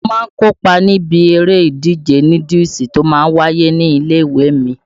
Mo má ń kó pa níbi eré ìdíje núdúùsù tó má ń wáyé ní ilé-ìwé mi.